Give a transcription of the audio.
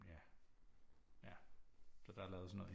Ja ja så der er lavet sådan noget